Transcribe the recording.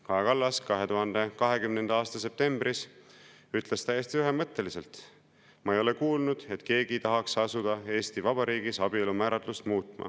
Kaja Kallas ütles 2020. aasta septembris täiesti ühemõtteliselt: "Ma ei ole kuulnud, et keegi seda muuta tahaks.